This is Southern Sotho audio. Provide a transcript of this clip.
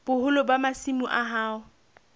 boholo ba masimo a hao